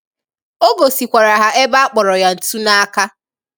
Ọ gòsịkwara ha ebe akpọrọ ya ntù n’aka.